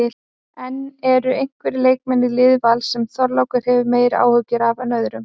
En eru einhverjir leikmenn í liði Vals sem Þorlákur hefur meiri áhyggjur af en öðrum?